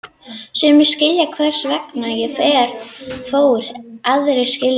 Sumir skilja hvers vegna ég fór, aðrir skilja það ekki.